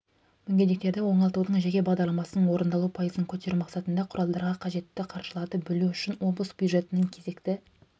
мүгедектерді оңалтудың жеке бағдарламасының орындалу пайызын көтеру мақсатында құралдарға қажетті қаржыларды бөлу үшін облыс бюджетінің кезекті